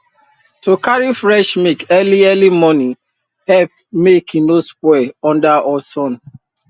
to carry fresh milk early early morning help make e no spoil under hot sun